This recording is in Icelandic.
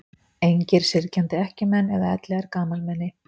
Engir syrgjandi ekkjumenn eða elliær gamalmenni.